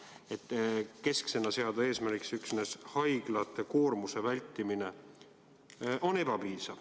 Sellest ei piisa, et seada keskseks eesmärgiks üksnes haiglate ülekoormuse vältimine.